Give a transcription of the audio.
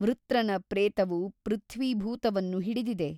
ವೃತ್ರನ ಪ್ರೇತವು ಪೃಥ್ವೀ ಭೂತವನ್ನು ಹಿಡಿದಿದೆ.